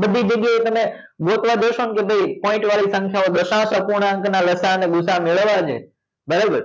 બધી જગ્યા એ તમે ગોતવા બેસસો ને કે ભાઈ point વાળી સંખ્યા ઓ દશાંસ અપૂર્ણાંક ના લસા અને ગુ સા અ મેળવવા છે બરોબર